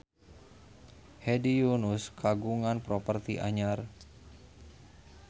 Hedi Yunus kagungan properti anyar